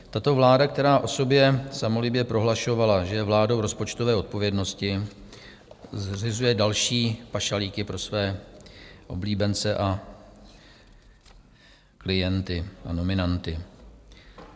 Tato vláda, která o sobě samolibě prohlašovala, že je vládou rozpočtové odpovědnosti, zřizuje další pašalíky pro své oblíbence, klienty a nominanty.